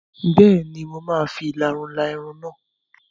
Bẹ́ẹ̀ni, mo máa fi ìlarun la irun náà.